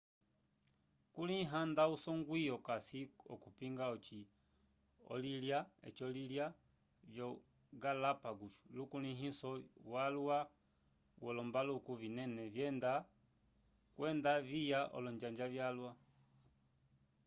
kulĩha nda usongwi okasi okupinga ocĩ olo-ilya vyo-galápagos lukulĩhiso walwa wolombaluku vinene vyenda kwenda viya olonjanja vyalwa